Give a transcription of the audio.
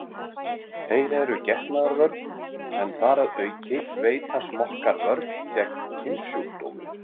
Þeir eru getnaðarvörn en þar að auki veita smokkar vörn gegn kynsjúkdómum.